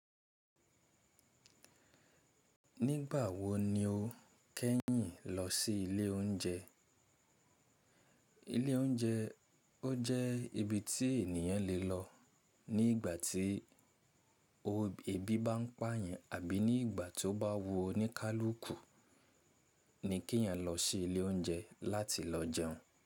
Nígbà wo ni o kẹ́yìn lọ sí ilé oúnjẹ? Ilé oúnjẹ, ó jẹ́ ibi tí ènìyàn lè lọ ní ìgbà tí o èébí bá ń pà yàn àbí ní ìgbà tí ó bá wu ọ ní kálúkù ni kí èèyàn lọ sí ilé oúnjẹ láti lọ jẹun.